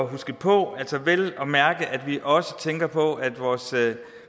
huske på altså at vi også tænker på at vores